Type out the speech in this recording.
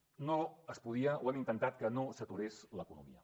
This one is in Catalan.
no es podia ho hem intentat que no s’aturés l’economia